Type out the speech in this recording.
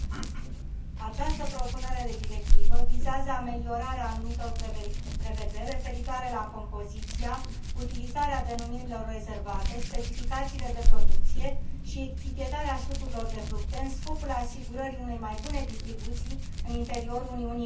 Această propunere de directivă vizează ameliorarea anumitor prevederi referitoare la compoziția, utilizarea denumirilor rezervate, specificațiile de producție și etichetarea sucurilor de fructe în scopul asigurării unei mai bune distribuții în interiorul Uniunii Europene.